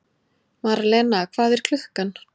Marlena, hvað er klukkan?